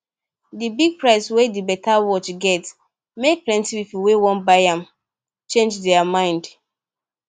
the big price wey the better watch get make plenty people wey wan buy am change their mind